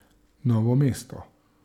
Novo mesto.